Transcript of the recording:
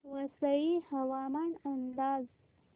वसई हवामान अंदाज